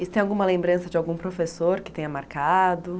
E tem alguma lembrança de algum professor que tenha marcado?